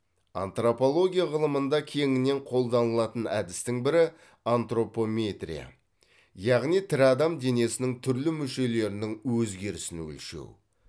антропология ғылымында кеңінен қолданылатын әдістің бірі антропометрия яғни тірі адам денесінің түрлі мүшелерінің өзгерісін өлшеу